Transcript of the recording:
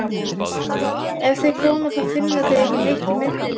Ef þeir koma þá finna þeir ekki neitt í myrkrinu.